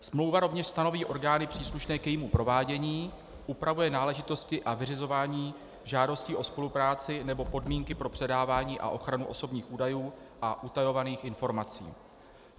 Smlouva rovněž stanoví orgány příslušné k jejímu provádění, upravuje náležitosti a vyřizování žádostí o spolupráci nebo podmínky pro předávání a ochranu osobních údajů a utajovaných informací.